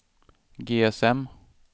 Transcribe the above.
GSM